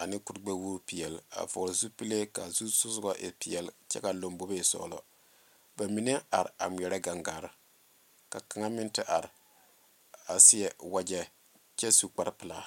ane kur gbe wogi peɛle a vɔgle zupele kaa zu soga e peɛle kyɛ kaa lanbobo e sɔglɔ ka mine are a ŋmeɛrɛ gaŋgaare ka kaŋa meŋ te are a seɛ wagye kyɛ su kpare pelaa.